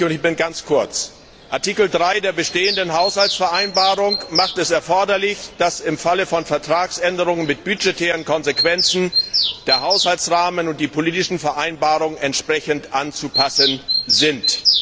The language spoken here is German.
Es ist wichtig, und ich mache es ganz kurz Artikel 3 der bestehenden Haushaltsvereinbarung macht es erforderlich, dass im Falle von Vertragsänderungen mit budgetären Konsequenzen der Haushaltsrahmen und die politischen Vereinbarungen entsprechend anzupassen sind.